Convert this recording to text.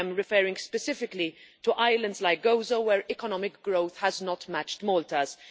I am referring specifically to islands like Gozo, where economic growth has not matched Malta's.